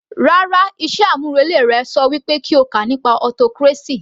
Rárá, iṣẹ́ àmúrelé rẹ ṣọ wí pé kí o kà nípa autocracy